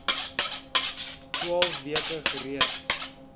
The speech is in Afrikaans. twaalf weke gereed